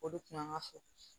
O de kun b'an ka fo